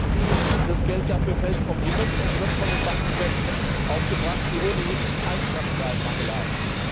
Oder glauben Sie, das Geld dafür fällt vom Himmel und wird von den Banken selbst aufgebracht, die ohnehin Eigenkapitalmangel haben?